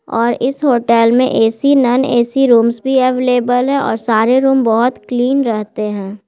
और इस होटल में ए.सी. Non AC. रूम्स भी अवेलेबल है और सारे रूम बहुत क्लीन रहते है।